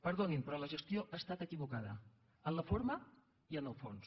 perdonin però la gestió ha estat equivocada en la forma i en el fons